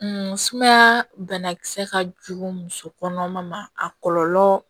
sumaya banakisɛ ka jugu muso kɔnɔma ma a kɔlɔlɔ